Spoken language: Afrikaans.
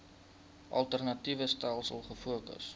alternatiewe stelsels gefokus